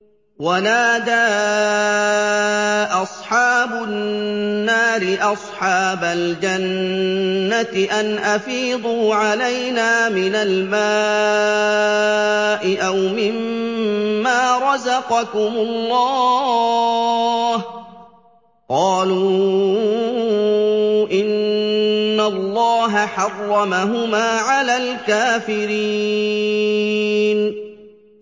وَنَادَىٰ أَصْحَابُ النَّارِ أَصْحَابَ الْجَنَّةِ أَنْ أَفِيضُوا عَلَيْنَا مِنَ الْمَاءِ أَوْ مِمَّا رَزَقَكُمُ اللَّهُ ۚ قَالُوا إِنَّ اللَّهَ حَرَّمَهُمَا عَلَى الْكَافِرِينَ